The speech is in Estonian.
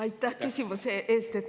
Aitäh küsimuse eest!